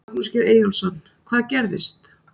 Magnús Geir Eyjólfsson: Hvað gerðist?